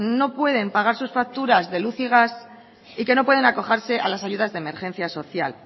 no pueden pagar sus facturas de luz y gas y que no pueden acogerse a las ayudas de emergencia social